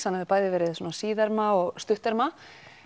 hann hefur bæði verið svona síðerma og stutterma